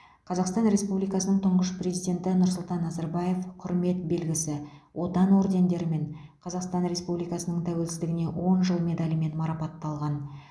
қазақстан республикасының тұңғыш президенті нұрсұлтан назарбаев құрмет белгісі отан ордендерімен қазақстан республикасының тәуелсіздігіне он жыл медалімен марапатталған